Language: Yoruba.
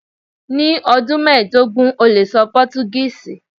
Ni ọdun mẹdogun o le sọ Portuguese